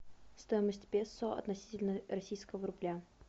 стоимость песо относительно российского рубля